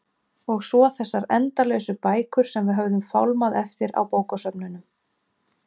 Og svo þessar endalausu bækur sem við höfðum fálmað eftir á bókasöfnunum.